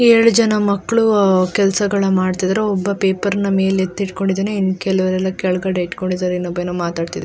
ಏಳು ಜನ ಮಕ್ಕಳು ಕೆಲಸಗಳ ಮಾಡ್ತಾ ಇದ್ದಾರೆ ಒಬ್ಬ ಪೇಪರ್ನ ಮೇಲೆ ಎತ್ತಿ ಇಟ್ಕೊಂಡಿದ್ದಾನೆ ಇನ್ ಕೆಲವ್ರೆಲ್ಲ ಕೆಳಗಡೆ ತಗೊಂಡಿದ್ದರೆ ಇನ್ನೊಬ್ಬ ಏನೋ ಮಾತಾಡ್ತಾ ಇದ್ದಾನೆ-